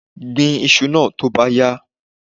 Gbin iṣu náà tó bá yá!